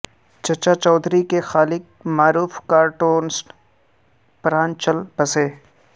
چچا چودھری کے خالق معروف کارٹونسٹ پران چل بسے